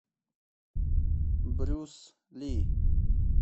брюс ли